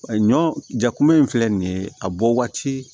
Ɲɔ jakunbɛ in filɛ nin ye a bɔ waati